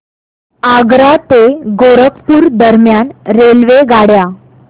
आग्रा ते गोरखपुर दरम्यान रेल्वेगाड्या